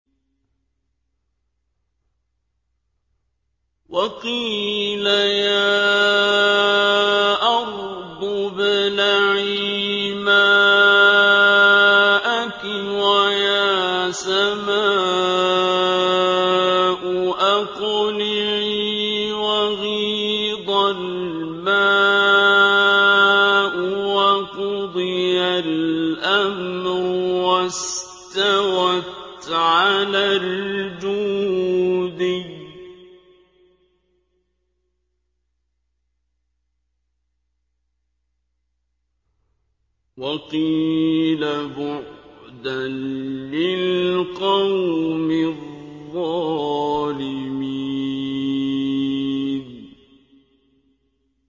وَقِيلَ يَا أَرْضُ ابْلَعِي مَاءَكِ وَيَا سَمَاءُ أَقْلِعِي وَغِيضَ الْمَاءُ وَقُضِيَ الْأَمْرُ وَاسْتَوَتْ عَلَى الْجُودِيِّ ۖ وَقِيلَ بُعْدًا لِّلْقَوْمِ الظَّالِمِينَ